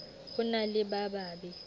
ho na le ba babe